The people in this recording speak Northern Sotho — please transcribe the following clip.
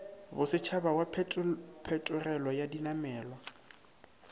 bosetšhaba wa phetogelo ya dinamelwa